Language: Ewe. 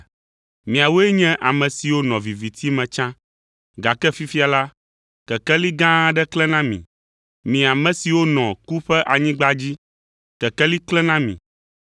miawoe nye ame siwo nɔ viviti me tsã, gake fifia la, Kekeli gã aɖe klẽ na mi. Mi ame siwo nɔ ku ƒe anyigba dzi, Kekeli klẽ na mi.”